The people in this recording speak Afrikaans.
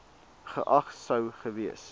geag sou gewees